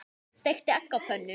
Steikti egg á pönnu.